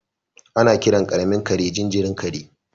Ana kiran karamin kare jinjirin kare.